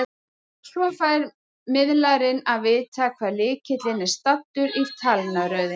Svo fær miðlarinn að vita hvar lykillinn er staddur í talnaröðinni.